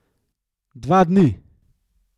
Dva dni!